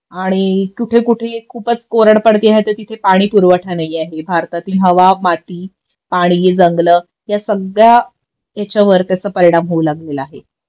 आणि कुठे कुठे खूपच कोरड पडते ह्यच्या तिथे पाणी पुरवठा नाही आहे भारतातील हवा माती पाणी जंगलं ह्या सगळ्या ह्याच्यावर त्याचा परिणाम होऊ लागलेला आहे